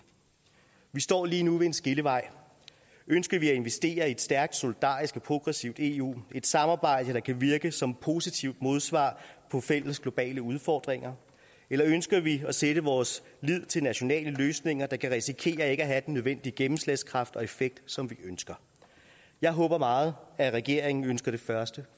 vi står lige nu ved en skillevej ønsker vi at investere i et stærkt solidarisk og progressivt eu i et samarbejde der kan virke som et positivt modsvar på fælles globale udfordringer eller ønsker vi at sætte vores lid til nationale løsninger der kan risikere ikke at have den nødvendige gennemslagskraft og effekt som vi ønsker jeg håber meget at regeringen ønsker det første